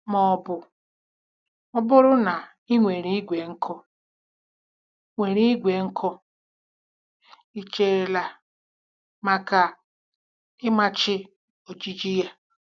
Ma ọ bụ ọ bụrụ na ị nwere igwe nkụ nwere igwe nkụ, ị cherela maka ịmachi ojiji ya?